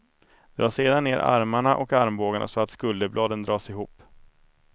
Dra sedan ner armarna och armbågarna så att skulderbladen dras ihop.